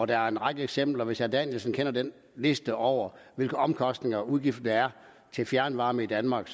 der er en række eksempler hvis herre danielsen kender den liste over hvilke omkostninger og udgifter der er til fjernvarme i danmark